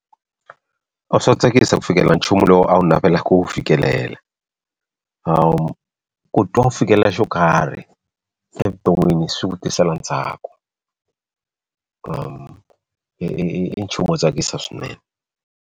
A swo tsakisa ku fikelela nchumu lowu a wu navela ku fikelela ku twa u fikelela xo karhi evuton'wini swi ku tisela ntsalo i nchumu wo tsakisa swinene.